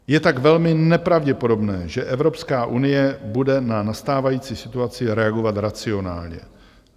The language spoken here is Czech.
Je tak velmi nepravděpodobné, že Evropská unie bude na nastávající situaci reagovat racionálně.